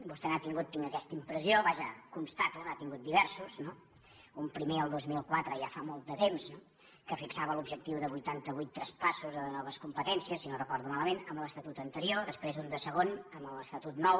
vostè n’ha tingut tinc aquesta impressió vaja ho constato diversos no un primer el dos mil quatre ja fa molt de temps que fixava l’objectiu de vuitanta vuit traspassos o de noves competències si no recordo malament amb l’estatut anterior després un de segon amb l’estatut nou